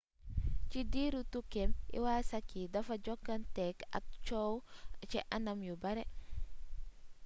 ci diiru tukkeem iwasaki dafa jokkonteeg ak coow ci anam yu bare